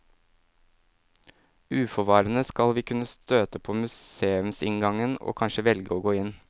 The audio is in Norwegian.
Uforvarende skal vi kunne støte på museumsinngangen og kanskje velge å gå inn.